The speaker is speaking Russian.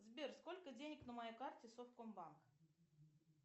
сбер сколько денег на моей карте совкомбанк